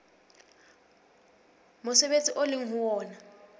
mosebetsi o leng ho wona